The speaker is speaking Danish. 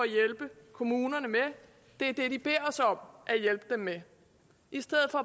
hjælpe kommunerne med det er det de beder os om at hjælpe dem med i stedet for